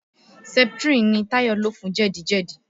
Septrin ni Tayo lò fún jẹ́dì-jẹ́dì